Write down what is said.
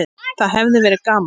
Það hefði verið gaman.